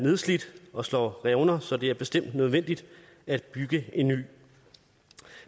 nedslidt og slår revner så det er bestemt nødvendigt at bygge en ny